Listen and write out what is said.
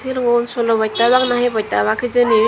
eligun solo boytta obaak na hi boytta obaak hijeni.